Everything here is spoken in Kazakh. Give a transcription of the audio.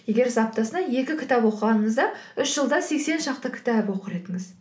егер сіз аптасына екі кітап оқығаныңызда үш жылда сексен шақты кітап оқыр едіңіз